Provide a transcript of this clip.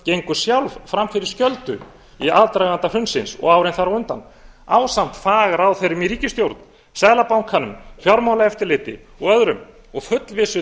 gengu sjálf fram fyrir skjöldu í aðdraganda hrunsins og árin þar á undan ásamt fagráðherrum í ríkisstjórn seðlabankanum fjármálaeftirliti og öðrum og fullvissi